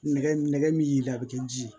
Nɛgɛ nɛgɛ min yir'i la a bɛ kɛ ji ye